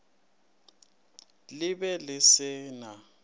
le be le se na